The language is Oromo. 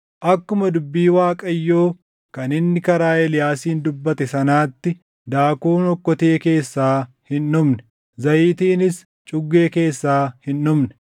Akkuma dubbii Waaqayyoo kan inni karaa Eeliyaasiin dubbate sanaatti daakuun okkotee keessaa hin dhumne; zayitiinis cuggee keessaa hin dhumne.